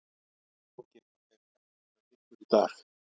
Er engin af þeim eftir hjá ykkur í dag?